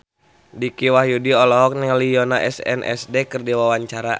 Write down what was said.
Dicky Wahyudi olohok ningali Yoona SNSD keur diwawancara